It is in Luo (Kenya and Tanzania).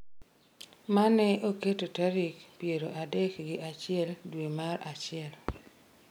mane oketo tarik piero adek gi achiel dwe mar achiel